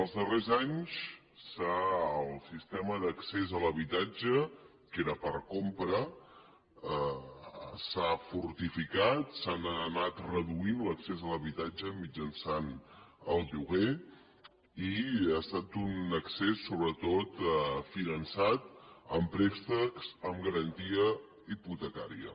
els darrers anys el sistema d’accés a l’habitatge que era per compra s’ha fortificat s’ha anat reduint l’accés a l’habitatge mitjançant el lloguer i ha estat un accés sobretot finançat amb préstecs amb garantia hipotecària